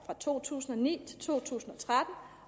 fra to tusind og ni til to tusind